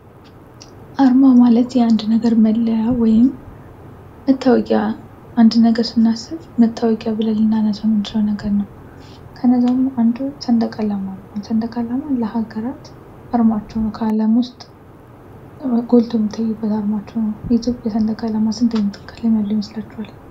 አርማ ማለት የአንድ ነገር መለያ ወይም መታወቂያ አንድ ነገር ስናስብ መታወቂያ ብለን ልናሰው የምንችል ነገር ነው። ከነዛ ዉስጥ ደግሞ አንዱ ሰንደቃአላማ ነው። አሁን ሰንደቅአላማ ለሀገራት አርማቸው ነው። ከአለም ውስጥ ጎልተው የሚታዩበት አርማቸው ነው። የኢትዮጲያ ሰንደቅአላማ ስንት አይነት ቀለም ያለው ይመስላችኋል።